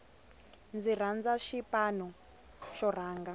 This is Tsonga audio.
ndzi rhandza xipano xo rhanga